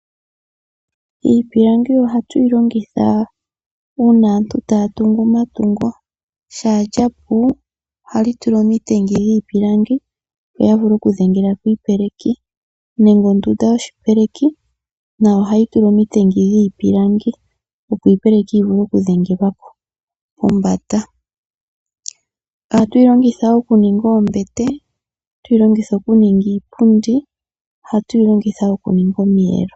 Iipilangi ohatu yi longitha uuna aantu taya tungu omatungo. Shaa lya pu ohali tulwa omitengi dhiipilangi, opo ya vule okudhengela ko iipeleki nenge ondunda yoshipeleki nayo ohayi tulwa omitengi dhiipilangi, opo iipeleki yi vule okudhengelwa ko pombanda. Ohatu yi longitha okuninga oombete, ohatu yi longitha okuninga iipundi, ohatu yi longitha okuninga omiyelo.